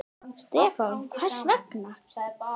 Stefán: Hvers vegna?